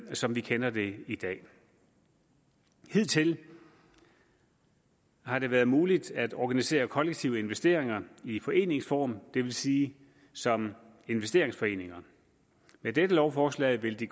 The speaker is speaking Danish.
som vi kender det i dag hidtil har det været muligt at organisere kollektive investeringer i foreningsform det vil sige som investeringsforeninger med dette lovforslag vil de